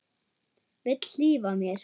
Vill hlífa mér.